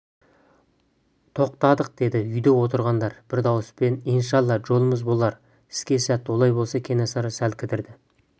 тоқтадық деді үйде отырғандар бір дауыспен иншалла жолымыз болар іске сәт олай болса кенесары сәл кідірді